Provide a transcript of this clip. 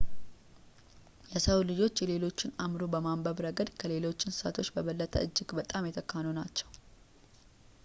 የሰው ልጆች የሌሎችን አእምሮ በማንበብ ረገድ ከሌሎች እንስሳቶች በበለጠ እጅግ በጣም የተካኑ ናቸው